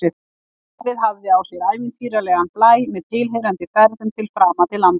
Starfið hafði á sér ævintýralegan blæ, með tilheyrandi ferðum til framandi landa.